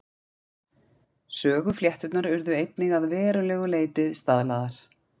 Söguflétturnar urðu einnig að verulegu leyti staðlaðar.